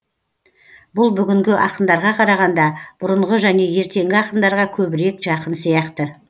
бұл бүгінгі ақындарға қарағанда бұрынғы және ертеңгі ақындарға көбірек жақын сияқты